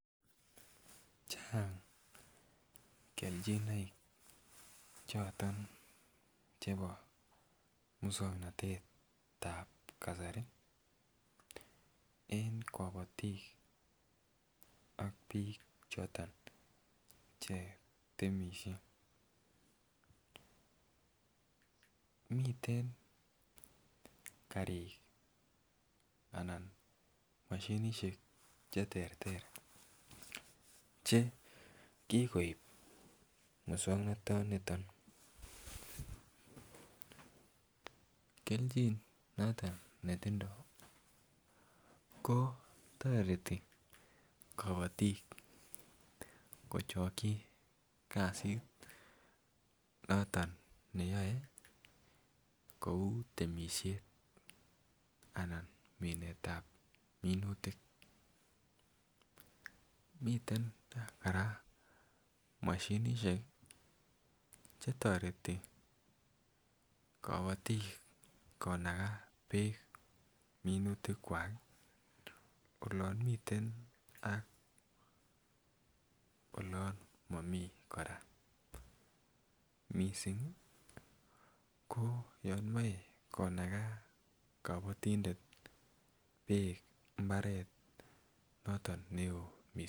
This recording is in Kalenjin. Chang keljinoik choton chebo muswoknotetab kasari en kobotik ak bik choton che temishet, miten karik ana moshinishek cheterter che kikoib muswoknoton niton, keljin noton netindo ko toreti kobotik kochoki kasit noton neyoe kou temishet anan minetab minutik. Miten Koraa moshinishek chetoreti kobotik konagaa beek minutik Kwak olon miten ak olon momii Koraa, missing ko yon imoi konaka kobotindet imbaret noton neo missing.